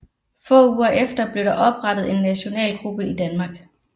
Få uger efter blev der opretttet en nationalgruppe i Danmark